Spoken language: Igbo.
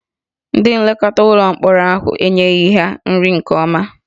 Ndị nlekọta ụlọ mkpọrọ ahụ enyeghị ha nri nke ọma